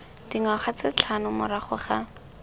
dingwaga tse tlhano morago ga